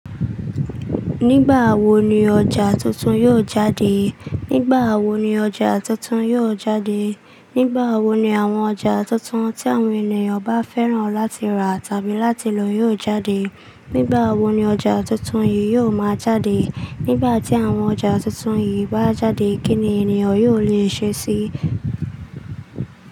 Nígbà wo ni ọjà tuntun yóò jáde? Nígbà wo ni ọjà tuntun yóò jáde? Nígbà wo ni àwọn ọjà tuntun tí àwọn ènìyàn bá fẹ́ràn láti rà tàbí láti lọ yóò jáde? Nígbà wo ni ọjà tuntun yìí yóò máa jáde? Nígbà tí àwọn ọjà tuntun yìí bá jáde, kí ni ènìyàn yóò lè ṣe sí i?